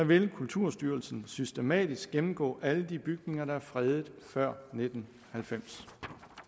vil kulturstyrelsen systematisk gennemgå alle de bygninger der er fredet før nitten halvfems